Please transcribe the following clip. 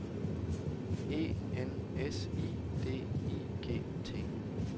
E N S I D I G T